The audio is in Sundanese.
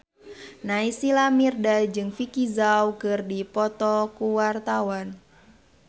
Naysila Mirdad jeung Vicki Zao keur dipoto ku wartawan